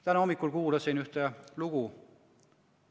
Täna hommikul kuulasin ühte lugu.